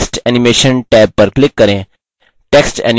text animation tab पर click करें